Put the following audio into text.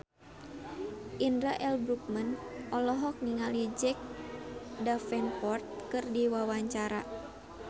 Indra L. Bruggman olohok ningali Jack Davenport keur diwawancara